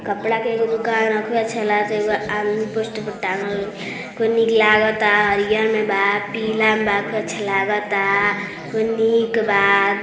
कपड़ा के एगो दुकान ह। खूबे अच्छा लागता। एगो आदमी पोस्टर पर टांगल खूब निक लागता। हरिहर में बा पीला में बा खूब अच्छा लागता। खूब निक बा।